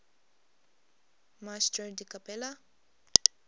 maestro di cappella